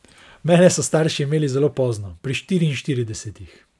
Mene so starši imeli zelo pozno, pri štiriinštiridesetih.